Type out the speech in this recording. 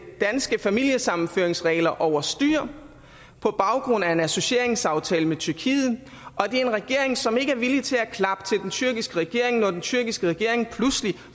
danske familiesammenføringsregler over styr på baggrund af en associeringsaftale med tyrkiet og det er en regering som ikke er villig til at klappe til den tyrkiske regering når den tyrkiske regering pludselig